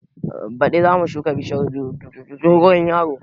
Baɗi zamu shuka bishiyar dogon yaro